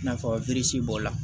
I n'a fɔ b'o la